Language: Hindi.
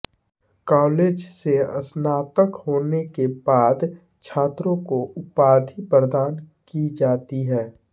कॉलेज से स्नातक होने के बाद छात्रों को उपाधि प्रदान की जाती है